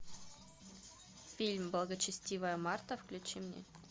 фильм благочестивая марта включи мне